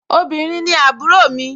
obìrin ni àbúrò mi